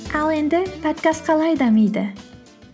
ал енді подкаст қалай дамиды